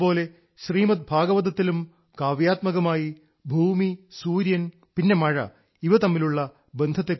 അതുപോലെ ശ്രീമദ് ഭാഗവതത്തിലും കാവ്യാത്മകമായി ഭൂമി സൂര്യൻ പിന്നെ മഴ ഇവ തമ്മിലുള്ള ബന്ധത്തെക്കുറിച്ച് പറയുന്നുണ്ട്